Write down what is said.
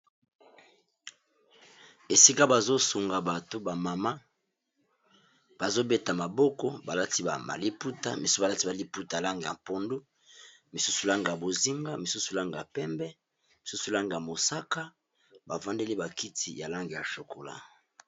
esika bazosunga bato bamama bazobeta maboko balati aaliputa balati maliputa langa ya mpondu misusu langa ya bozimba misusu langa ya pembe misusu langa ya mosaka bafandeli bakiti ya lange ya chokola